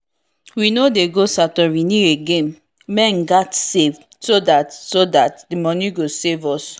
we no dey go satorini again men gat save so that so that the money go save us